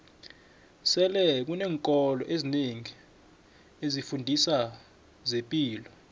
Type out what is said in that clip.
sele kuneenkolo ezinengi ezifundiso zempilo